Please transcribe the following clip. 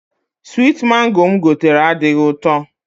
Switi Mango mụ gotere adịghị ụtọ